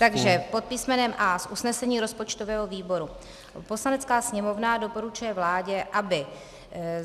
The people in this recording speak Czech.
Takže pod písmenem A z usnesení rozpočtového výboru: Poslanecká sněmovna doporučuje vládě, aby